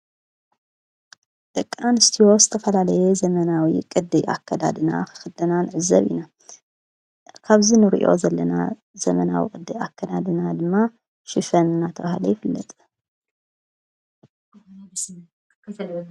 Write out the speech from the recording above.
ደቃ አን ስትዮ ዝ ተፈላለየ ዘመናዊ ቕድ ኣከዳድና ኽኽድና ንዕዘብ ኢና ካብዚ ንርእዮ ዘለና ዘመናዊ ቅድ ኣከዳድና ድማ ሽፈን ናተባሃለ ይፍለጥ።